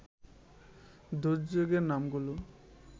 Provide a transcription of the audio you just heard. দুর্যোগের নামগুলো